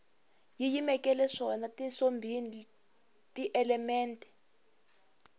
yi yimeleke swona tisombholi tielemente